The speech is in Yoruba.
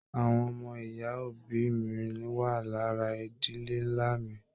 Àwọn ọmọ ìyá òbí mí wá lára ìdílé nlá mí.